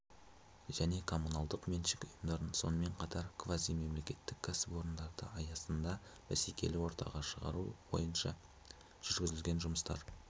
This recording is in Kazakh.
және коммуналдық меншік үйымдарын сонымен қатар квазимемлекеттік кәсіпорындарды аясында бәсекелі ортаға шығару бойынша жүргізілген жұмыстар